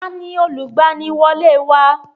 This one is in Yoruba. Ta ni olùgbaniwọlé wa?